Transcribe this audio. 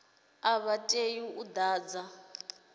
a vha tei u ḓadza